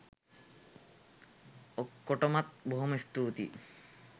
ඔක්කොටමත් බොහොම ස්තූතියි.